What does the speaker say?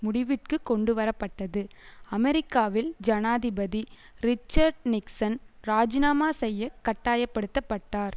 முடிவிற்குக் கொண்டுவர பட்டது அமெரிக்காவில் ஜனாதிபதி ரிச்சர்ட் நிக்சன் இராஜிநாமா செய்ய கட்டாய படுத்த பட்டார்